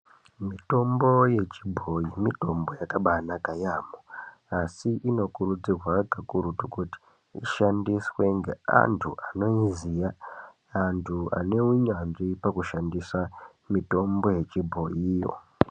Mitombo yechibhoyi mitombo yakabanaka yaamho asi inokurudzirwa kakurutu kuti ishandiswe ngeantu anoiziya antu ane unyanzi pakushandisa mitombo yechibhoyiyo.